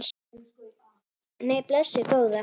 Nei, blessuð góða.